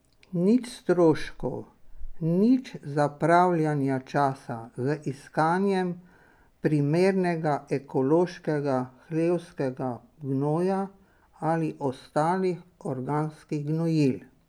Nič stroškov, nič zapravljanja časa z iskanjem primernega ekološkega hlevskega gnoja ali ostalih organskih gnojil.